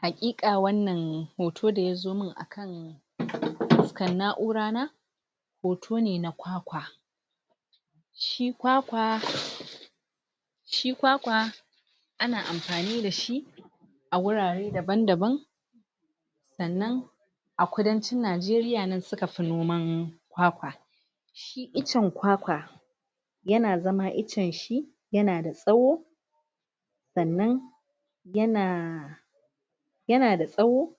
Hakika wannan Hoton da yazo man akan.. Afuskar na'ura na Hoto ne na kwakwa Shi kwakwa Shi kwakwa Ana amfani dashi A wurare daban-daban Sannan A kudancin najeriya nan suka fi noman Kwakwa Shi Itacen kwakwa Yana zama iccen shi Yana da tsawo Sannan Yana Yana da tsawo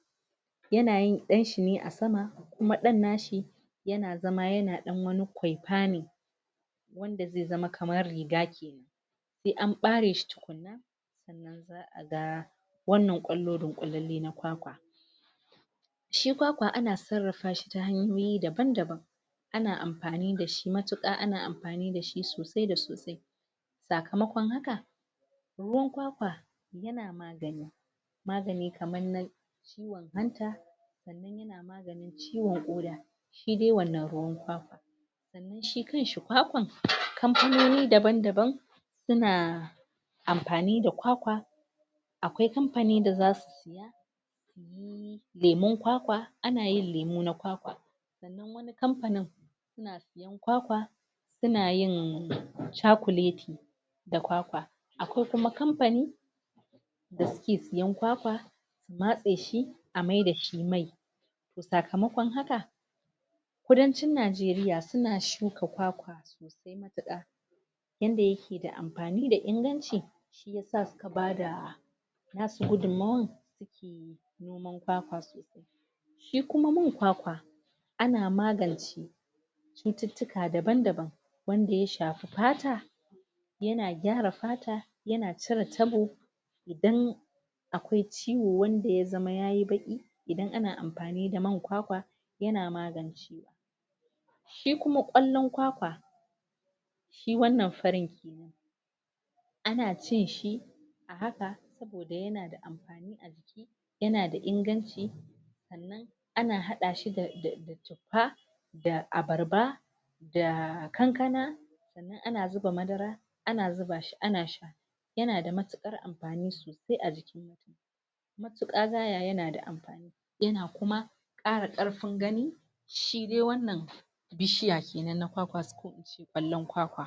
Yana yin danshi ne a sama Kuma dan nashi Yana zama yana dan wani kwai'pama Wanda zai zama kamar riga kenan Sai an ɓare shi tukunna Sanna za'a ga Wannan kwallo dinkwollale na kwakwa Shi kwakwa ana sarrafa shi ta hanyoyi daban-daban Ana amfani dashi matuka ana amfani dashi sosai da sosai Sakamakon haka Ruwan kwakwa Yana maganin Magani kamar na Ciwon hanta Yana maganin ciwon ƙoda Shidai wannan ruwan kwakwa Sannan shi kanshi kwakwan kamfanoni daban-daban Suna Amfani da kwakwa Akwai kamfanin da zasu saya Kamar lemun kwakwa ana yin lemun kwakwa Sannan wani kamfani Suna sayen kwakwa Suna yin cokulati Da kwakwa Akwai kuma kamfani Da suke sayen kwakwa Su matse shi A maida shi mai To sakamakon haka, Kudancin najeriya suna shuka kwakwa Sosai matuka Yanda yake da amfani da inganci Shi yasa suka bada Nasu Gudummawar Suke noman kwakwa sosai Shi kuma man kwakwa Ana magance Cuttutuka daban-daban Wanda ya shafi fata Yana gyara fata yana cire tabo Idan Akwai ciwo wanda ya zamana yayi baki Idan ana amfani da man kwakwa Yana magance Shi kuma kwallon kwakwa Shi wannan furen kenan Ana cin shi A haka Saboda yana da amfani a jik yana da Inganci Sannan ana hadashi da Tuffa Da abbarba Da kankana Sannan ana zuba madara Ana zuba shi ana sha Yana da matukar amfani A jiki Matuka gaya, yana da amfani Yana kuma Kara karfin gani Shidai wannan Bishiya kenan ko ince kwallon kwakwa